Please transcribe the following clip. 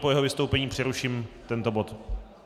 Po jeho vystoupení přeruším tento bod.